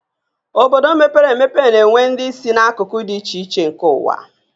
Obodo mepere emepe na-enwe ndị si n'akụkụ dị iche iche nke ụwa